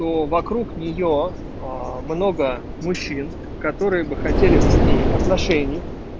но вокруг неё много мужчин которые бы хотели бы с ней отношений